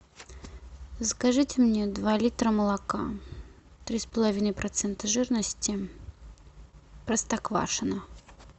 закажите мне два литра молока три с половиной процента жирности простоквашино